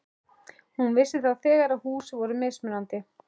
Hún vissi þá þegar að hús voru mismunandi.